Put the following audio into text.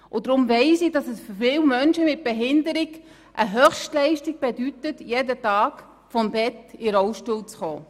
Deshalb weiss ich, dass es für viele Menschen mit einer Behinderung eine Höchstleistung bedeutet, jeden Tag vom Bett in den Rollstuhl zu gelangen.